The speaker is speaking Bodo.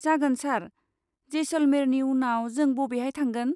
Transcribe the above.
जागोन सार, जैसलमेरनि उनाव जों बबेहाय थांगोन?